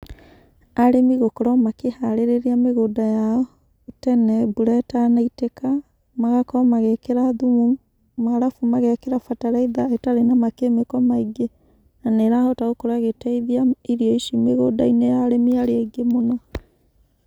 Arĩmi gũkorwo makĩharĩrĩria mĩgũnda yao tene mbura ĩtanaitĩka, magakorwo magĩkĩra thumu, na arabu magekĩra bataraitha ĩtarĩ na makemiko maingĩ, na nĩ ĩrahota gũkorwo ĩgĩtaithia irio ici mĩgũnda-inĩ ya arĩmi arĩa aingĩ mũno.